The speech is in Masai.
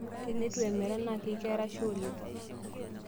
Tenetu emera naa keikeraisho oleng.